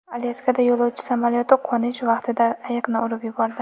Alyaskada yo‘lovchi samolyoti qo‘nish vaqtida ayiqni urib yubordi.